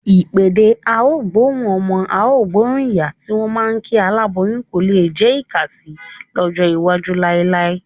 Ìpèdè "á gbóhùn ọmọ, á gbóhùn ìyá" tí wọ́n máa ń kí aláboyún kò lé jẹ́ ìkàsì lọ́jọ́ iwájú láíláí.